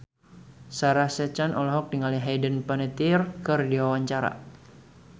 Sarah Sechan olohok ningali Hayden Panettiere keur diwawancara